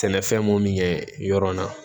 Sɛnɛfɛn mun ye yɔrɔ in na